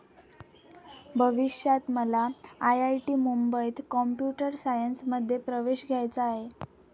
भविष्यात मला आयआयटी मुंबईत कॉम्प्युटर सायन्समध्ये प्रवेश घ्यायचा आहे.